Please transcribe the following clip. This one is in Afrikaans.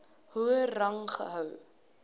hoër rang gehou